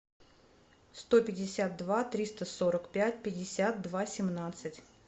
сто пятьдесят два триста сорок пять пятьдесят два семнадцать